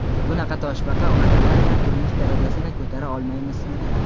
"Bunaqa toshbaqa qadamlar bilan turmush darajasini ko‘tara olmaymiz".